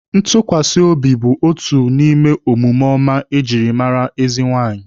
Ntukwasiobi bụ otu n'ime omume ọma ejiri mara ezi nwaanyị